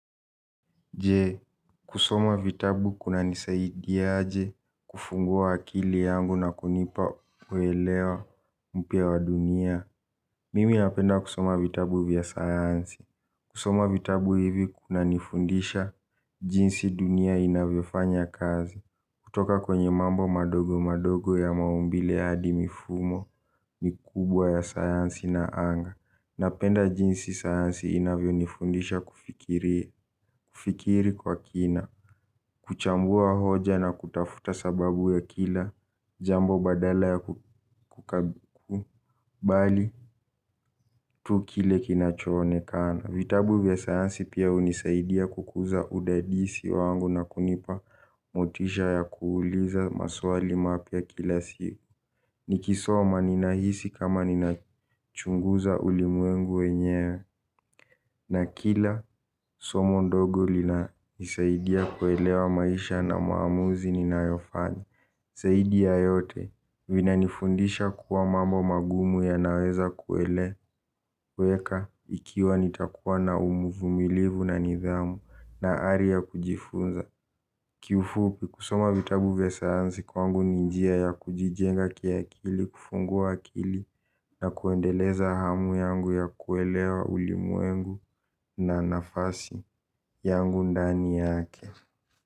Jee, kusoma vitabu kunanisaidia aje kufungua akili yangu na kunipa kuelewa mpira wa dunia. Mimi napenda kusoma vitabu vya sayansi. Kusoma vitabu hivi kunanifundisha jinsi dunia inavyofanya kazi. Kutoka kwenye mambo madogo madogo ya maumbile hadi mifumo mikubwa ya sayansi na anga. Napenda jinsi sayansi inavyo nifundisha kufikiri kwa kina. Kuchambua hoja na kutafuta sababu ya kila jambo badala ya kukubali tu kile kinachoonekana. Vitabu vya sayansi pia hunisaidia kukuza udadisi wangu na kunipa motisha ya kuuliza maswali mapya kila siku. Nikisoma ninahisi kama ninachunguza ulimwengu wenye na kila somo ndogo linanisaidia kuelewa maisha na maamuzi ninayofani zaidi ya yote vinanifundisha kuwa mambo magumu ya naweza kueleweka ikiwa nitakuwa na umuvumilivu na nidhamu na ari ya kujifunza. Kiufupi kusoma vitabu vya sayansi kwangu ni njia ya kujijenga kiakili kufungua akili na kuendeleza hamu yangu ya kuelewa ulimwengu na nafasi yangu ndani yake.